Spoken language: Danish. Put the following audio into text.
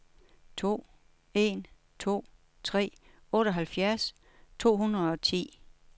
to en to tre otteoghalvfjerds to hundrede og ti